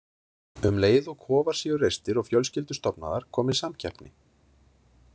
Um leið og kofar séu reistir og fjölskyldur stofnaðar komi samkeppni.